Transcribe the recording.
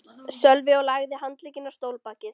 Sölvi og lagði handlegginn á stólbakið.